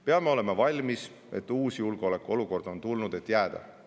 Peame olema valmis, et uus julgeolekuolukord on tulnud, et jääda.